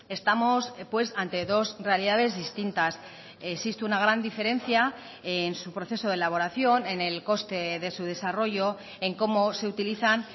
estamos pues ante dos realidades distintas existe una gran diferencia en su proceso de elaboración en el coste de su desarrollo en cómo se utilizan